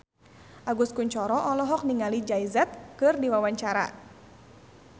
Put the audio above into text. Agus Kuncoro olohok ningali Jay Z keur diwawancara